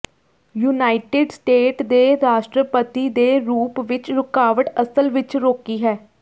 United State ਦੇ ਰਾਸ਼ਟਰਪਤੀ ਦੇ ਰੂਪ ਵਿੱਚ ਰੁਕਾਵਟ ਅਸਲ ਵਿੱਚ ਰੋਕੀ ਹੈ